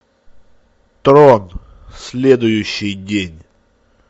трон следующий день